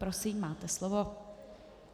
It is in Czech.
Prosím, máte slovo.